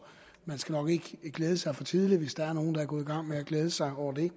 man skal nok ikke glæde sig for tidligt hvis der er nogle der er gået i gang med at glæde sig over det